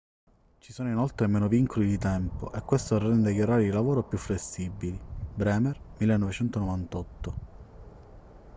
ci sono inoltre meno vincoli di tempo e questo rende gli orari di lavoro più flessibili. bremer 1998